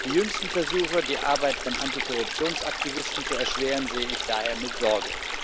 Die jüngsten Versuche, die Arbeit von Antikorruptionsaktivisten zu erschweren, sehe ich daher mit Sorge.